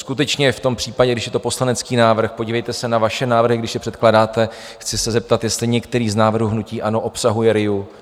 Skutečně v tom případě, když je to poslanecký návrh, podívejte se na vaše návrhy, když je předkládáte, chci se zeptat, jestli některý z návrhů hnutí ANO obsahuje RIA?